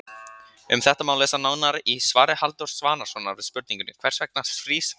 Um þetta má lesa nánar í svari Halldórs Svavarssonar við spurningunni Hvers vegna frýs vatn?